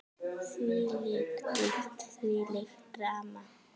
Þvílík dýpt, þvílíkt drama.